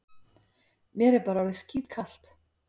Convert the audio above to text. Mér er bara orðið skítkalt.